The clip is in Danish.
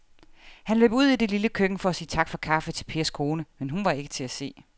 Han løb ud i det lille køkken for at sige tak for kaffe til Pers kone, men hun var ikke til at se.